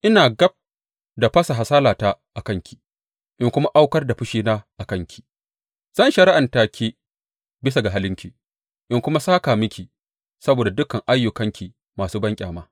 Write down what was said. Ina gab da fasa hasalata a kanki in kuma aukar da fushina a kanki; zan shari’anta ke bisa ga halinki in kuma sāka miki saboda dukan ayyukanki masu banƙyama.